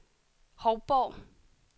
Hovborg